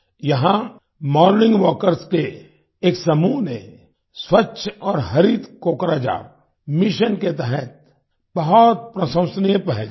यहाँ morning walkers के एक समूह ने स्वच्छ और हरित कोकराझार मिशन के तहत बहुत प्रशंसनीय पहल की है